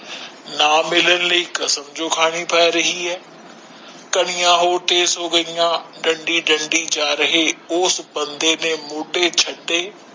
ਕੀਨੁ ਨਾ ਮਿਲਣ ਦੇ ਕਸਮ ਖਾਦੀ ਏ ਇਸਨੇ ਚੀਰੇ ਬਣੇ ਰੱਬ ਨੇ ਬਾਹਰ ਤੋਂ ਪੁੱਛਿਆ ਉਸ ਨੂੰ ਜੋ ਬਾਹਰ ਦੇ ਮੌਸਮ ਵਿਚ ਸਬਤੋ ਵੱਧ ਯਾਦ ਆ ਰਿਹਾ ਹੈ